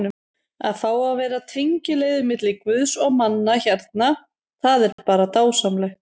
Að fá að vera tengiliður milli guðs og manna hérna- það er bara dásamlegt.